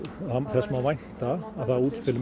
þess má vænta að það útspil